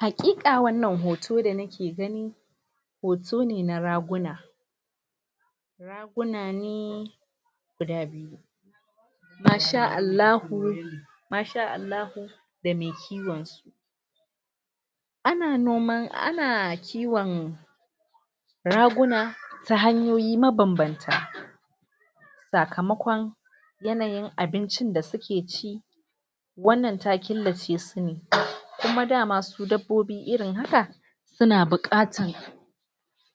Haƙiƙa wannan hoto da nake gani hoto ne na raguna raguna ne guda biyu. Masha Allahu Masha Allahu da mai kiwon su, ana noman ana kiwon raguna ta hanyoyi mabanbanta sakamakon yanayin abincin da suke ci wannan ta killace su ne kuma dama su dabbobi irin haka duna buƙatan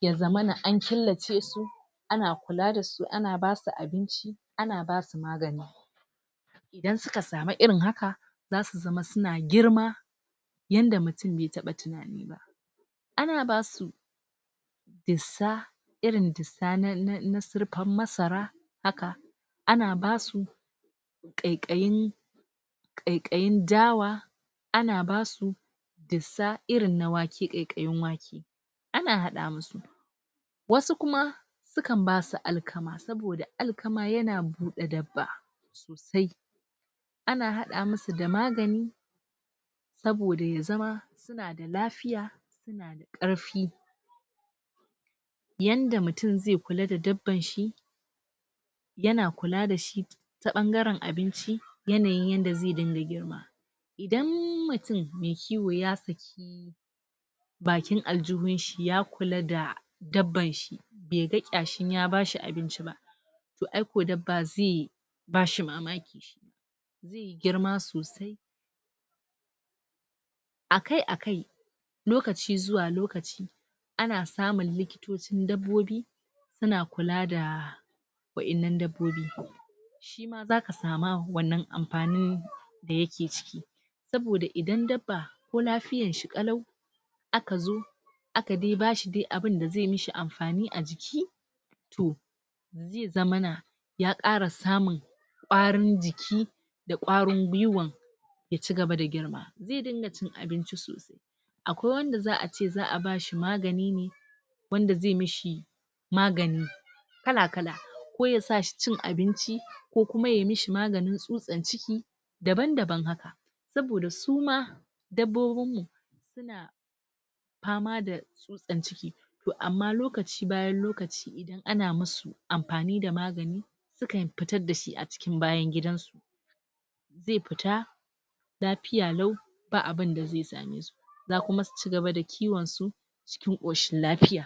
ya zamana an killace su ana kula dasu ana basu abinci ana basu magani. Idan suka samu irin haka, zasu zama suna girma yanda mutum bai taɓa tunani ba ana basu dissa irin dissa na na sirpan masara haka ana basu ƙaiƙayin ƙaiƙayin dawa ana basu dissa irin na wake ƙaiƙayin wake ana haɗa musu wasu kuma sukan basu alkama saboda alkama yana buɗe dabba sosai sai ana haɗa musu da magani, saboda ya zama suna da lafiya, suna da ƙarfi, yanda mutum ze kula da dabban shi yana kula da shi ta ɓangaran abinci yanayin yanda ze dinga girma. Idan mutum mai kiwo ya saki bakin aljuhunshi ya kula da dabban shi be ga kyashin ya bashi abinci ba, toh aiko dabba ze bashi mamaki. Zeyi girmai sosai. Akai-akai lokaci zuwa lokaci ana samun likitocin dabbobi suna kula da wa'innan dabbobi. Shima zaka sama wannan ampanin da yake ciki saboda idan dabba ko lafiyar shi kalau aka zo aka dai bashi dai abinda ze mishi amfani a jiki toh ze zamana ya kara samun kwarin jiki, da kwarin gwiwan ya cigaba da girma. Ze dinga cin abinci sosai akwai wanda za'a ce za'a bashi magani ne wanda ze mishi magani kala-kala ko ya sa shi cin abinci, ko kuma yayi mishi maganin tsutsan ciki' daban-daban haka saboda suma dabbobin mu suna pama da tsutsan ciki toh amma lokaci bayan lokaci, idan ana masu ampani da magani sukan pitar da shi a cikin bayan gidan su ae pita lapiya lau ba abinda ze same su za kuma su cigaba da kiwon su cikin ƙoshin lapiya.